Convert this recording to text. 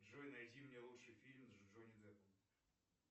джой найди мне лучший фильм с джонни деппом